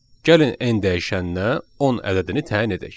Gəlin n dəyişəninə 10 ədədini təyin edək.